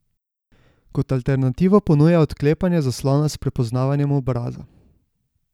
Kot alternativo ponuja odklepanje zaslona s prepoznavanjem obraza.